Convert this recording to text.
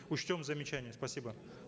учтем замечания спасибо